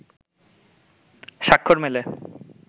স্বাক্ষর মেলে